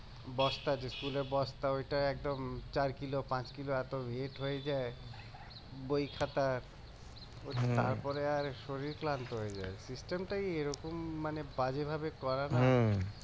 বস্তা যে স্কুলের বস্তা ওইটা একদম চার কিলো পাঁচ কিলো এতো হয়ে যায় বই খাতা ওই তারপরে আর শরীর ক্লান্ত হয়ে যায় টাই এরকম মানে বাজে ভাবে করানো